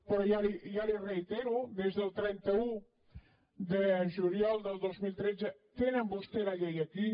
però ja li ho reitero des del trenta un de juliol del dos mil tretze tenen vostès la llei aquí